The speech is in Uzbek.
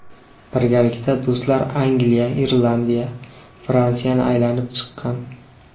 Birgalikda do‘stlar Angliya, Irlandiya, Fransiyani aylanib chiqqan.